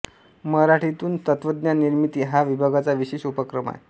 मराठीतून तत्त्वज्ञान निर्मिती हा विभागाचा विशेष उपक्रम आहे